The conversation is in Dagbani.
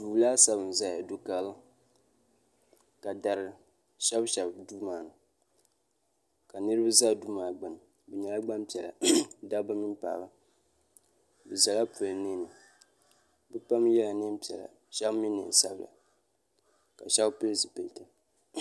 so laasabu zaya do karili ka dari ahɛbi shɛbi do maani ka niriba za do maa gbani be nyɛla gbanpiɛlla da ba mini paɣ' ba be zala polo nɛni be pam yɛla nɛpiɛla shɛbi mi nɛnsabila ka shɛbi pɛli zibilitɛ